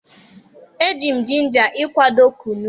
E ji m Jinja ịkwado Kunu.